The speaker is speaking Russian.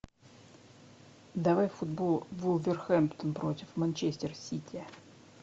давай футбол вулверхэмптон против манчестер сити